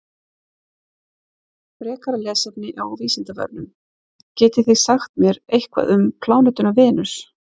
Frekara lesefni á Vísindavefnum: Getið þið sagt mér eitthvað um plánetuna Venus?